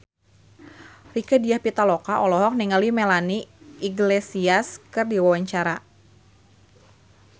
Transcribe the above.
Rieke Diah Pitaloka olohok ningali Melanie Iglesias keur diwawancara